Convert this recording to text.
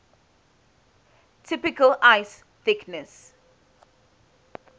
typical ice thickness